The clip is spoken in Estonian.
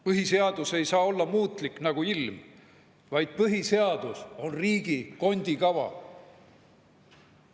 Põhiseadus ei saa olla muutlik nagu ilm, vaid põhiseadus on riigi kondikava.